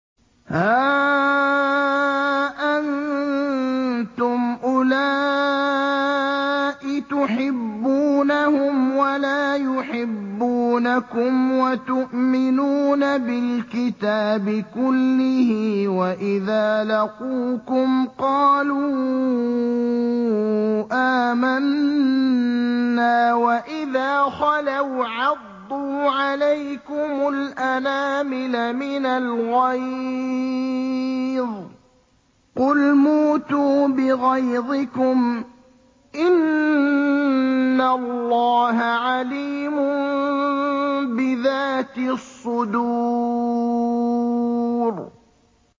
هَا أَنتُمْ أُولَاءِ تُحِبُّونَهُمْ وَلَا يُحِبُّونَكُمْ وَتُؤْمِنُونَ بِالْكِتَابِ كُلِّهِ وَإِذَا لَقُوكُمْ قَالُوا آمَنَّا وَإِذَا خَلَوْا عَضُّوا عَلَيْكُمُ الْأَنَامِلَ مِنَ الْغَيْظِ ۚ قُلْ مُوتُوا بِغَيْظِكُمْ ۗ إِنَّ اللَّهَ عَلِيمٌ بِذَاتِ الصُّدُورِ